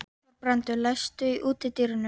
Þorbrandur, læstu útidyrunum.